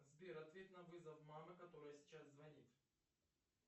сбер ответь на вызов мамы которая сейчас звонит